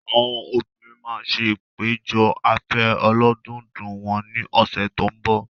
Àwọn obìnrin máa ṣe ìpéjọ afẹ́ ọlọ́dọọdún wọn ní ọ̀sẹ̀ tó ń bọ̀.